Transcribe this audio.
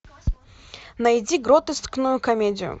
найди гротескную комедию